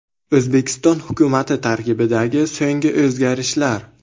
O‘zbekiston hukumati tarkibidagi so‘nggi o‘zgarishlar .